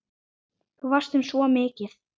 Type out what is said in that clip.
Þú varst þeim svo mikið.